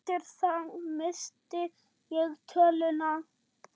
Eftir það missti ég töluna.